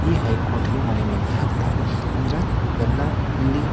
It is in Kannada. ಈ ಹೈ ಕೋರ್ಟ್ ಗೆ ಮನವಿಯನ್ನ ಹಾಕತ್ತರೆ ಅಂದ್ರ ಎಲ್ಲಾ ಇಲ್ಲಿ --